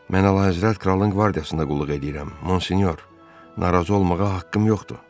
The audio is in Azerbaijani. Mən əlahəzrət kralın qvardiyasında qulluq eləyirəm, Monsinyor, narazı olmağa haqqım yoxdur.